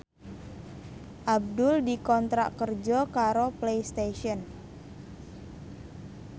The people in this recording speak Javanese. Abdul dikontrak kerja karo Playstation